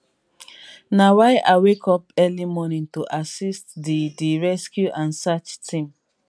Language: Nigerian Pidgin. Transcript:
na why i wake up early morning to assist di di rescue and search team